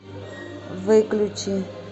выключи